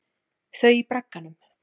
Þau í bragganum.